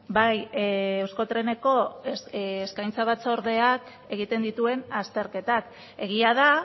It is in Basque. bai euskotreneko eskaintza batzordeak egiten dituen azterketak egia da